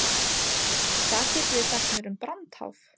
Hvað getið þið sagt mér um brandháf?